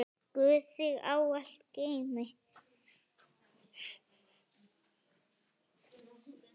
Guð þig ávallt geymi.